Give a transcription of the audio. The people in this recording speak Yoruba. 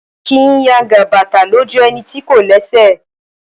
A kìí yangan bàtà lójú ẹni tí kò lẹ́sẹ̀